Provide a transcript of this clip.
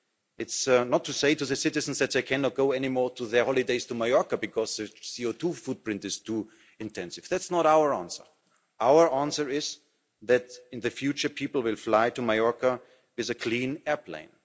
It's not to say to the citizen that they cannot go any more on their holidays to Majorca because the CO2 footprint is too intense. That's not our answer. Our answer is that in the future people will fly to Majorca in a clean airplane.